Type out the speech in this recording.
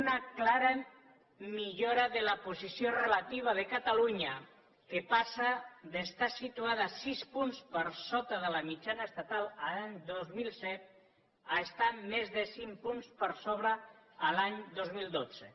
una clara millora de la posició relativa de catalunya que passa d’estar situada sis punts per sota de la mitjana estatal l’any dos mil set a estar més de cinc punts per sobre l’any dos mil dotze